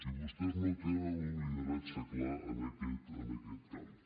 i vostès no tenen un lideratge clar en aquest camp